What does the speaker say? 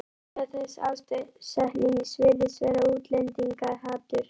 Ástæða þessa ásetnings virðist vera útlendingahatur.